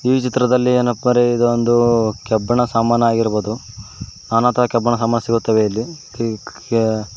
ಈ ಚಿತ್ರದಲ್ಲಿ ಏನಪ್ಪರೆ ಇದು ಒಂದು ಕಬ್ಬಿಣ ಸಾಮನು ಆಗಿರಬಹುದು ನನಾತರ ಕಬ್ಬಿಣ ಸಮಾನು ಸಿಗುತ್ತವೆ ಇಲ್ಲಿ.